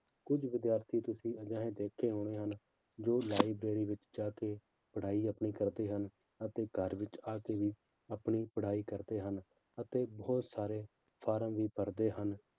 ਕੁੱਝ ਵਿਦਿਆਰਥੀ ਤੁਸੀਂ ਅਜਿਹੇ ਦੇਖੇ ਹੋਣੇ ਹਨ ਜੋ library ਵਿੱਚ ਜਾ ਕੇ ਪੜ੍ਹਾਈ ਆਪਣੀ ਕਰਦੇ ਹਨ ਅਤੇ ਘਰ ਵਿੱਚ ਆ ਕੇ ਆਪਣੀ ਪੜ੍ਹਾਈ ਕਰਦੇ ਹਨ, ਅਤੇ ਬਹੁਤ ਸਾਰੇ ਫਾਰਮ ਵੀ ਭਰਦੇ ਹਨ